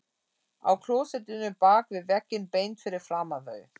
Á klósettinu bak við vegginn beint fyrir framan þau!